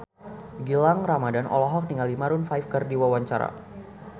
Gilang Ramadan olohok ningali Maroon 5 keur diwawancara